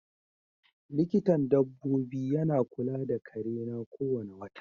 Likintan dabobi yana kula da kare na ko wane wota.